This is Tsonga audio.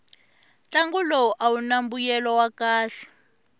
ntlangu lowu awuna mbuyelo wa kahle